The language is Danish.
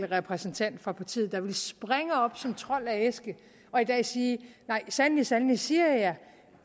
repræsentant fra partiet der ville springe op som trold af en æske og i dag sige nej sandelig sandelig siger jeg jer